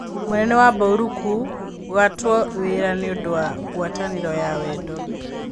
Mũnene wa baũrũkũigatwo wĩra nĩũndũwa ngwatanĩro ya wendo.